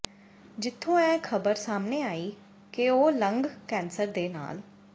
ਜਿੱਥੋਂ ਇਹ ਖਬਰ ਸਾਹਮਣੇ ਆਈ ਕਿ ਉਹ ਲੰਗ ਕੈਂਸਰ ਦੇਾ ਨਲ